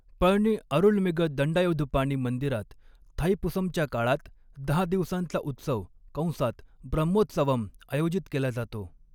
पळनी अरुलमिग दंडायुधपाणी मंदिरात, थाईपुसमच्या काळात दहा दिवसांचा उत्सव कंसात ब्रह्मोत्सवम आयोजित केला जातो.